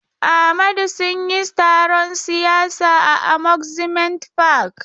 Amadu sun yi taron siyasa a Amusement park.